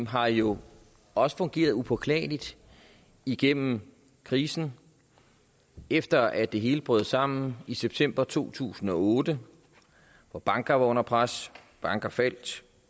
har jo også fungeret upåklageligt igennem krisen efter at det hele brød sammen i september to tusind og otte hvor banker var under pres banker faldt